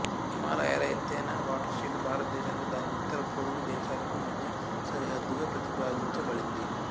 హిమాలయాల ఎత్తైన watershed భారతదేశానికి దాని ఉత్తర పొరుగు దేశాలకూ మధ్య సరిహద్దుగా ప్రతిపాదించబడింది